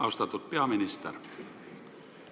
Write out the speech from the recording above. Austatud peaminister!